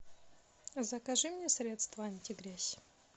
закажи мне средство антигрязь